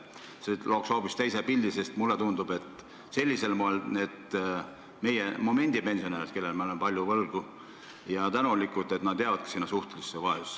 See looks hoopis teise pildi, sest mulle tundub, et sellisel moel need meie praegused pensionärid, kellele me oleme palju võlgu ja tänulikud, jäävadki sinna suhtelisse vaesusesse.